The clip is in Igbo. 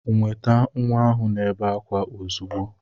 Nweta nwa ahu na-ebe akwa ozugbo.